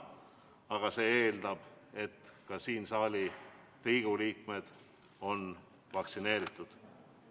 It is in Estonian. Aga see eeldab, et siin saalis olevad Riigikogu liikmed on vaktsineeritud.